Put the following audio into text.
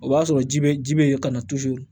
O b'a sɔrɔ ji bɛ ji bɛ yen ka na